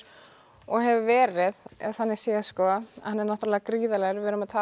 og hefur verið þannig séð hann er náttúrulega gríðarlegur